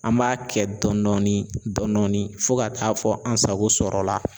An b'a kɛ dɔndɔni dɔndɔni fo ka taa fɔ an sago sɔrɔla.